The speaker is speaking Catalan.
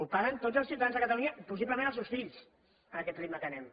el paguen tots els ciutadans de catalunya i possiblement els seus fills amb aquest ritme que anem